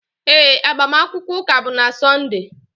Ee, agbamakwụkwọ ụka bụ na Sọnde.